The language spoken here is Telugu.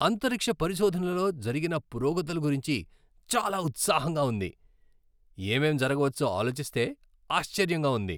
అంతరిక్ష పరిశోధనలో జరిగిన పురోగతుల గురించి చాలా ఉత్సాహంగా ఉంది! ఏమేం జరగ వచ్చో ఆలోచిస్తే ఆశ్చర్యంగా ఉంది.